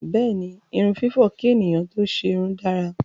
Bẹ́ẹ̀ni, irun fífọ̀ kí ènìyàn tó ṣerun dára.